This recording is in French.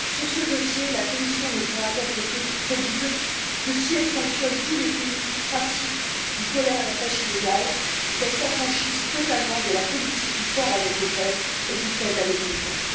Sur ce dossier, la Commission ne pourra être crédible que si elle sanctionne tous les pays qui pratiquent ou tolèrent la pêche illégale et si elle s'affranchit totalement de la politique du fort avec le faible et du faible avec le fort.